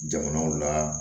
Jamanaw la